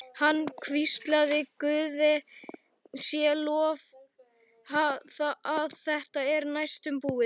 Hann hvíslaði: Guði sé lof að þetta er næstum búið.